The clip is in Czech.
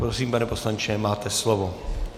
Prosím, pane poslanče, máte slovo.